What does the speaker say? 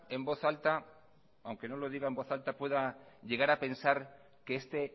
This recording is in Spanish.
en voz alta pueda llegar a pensar que este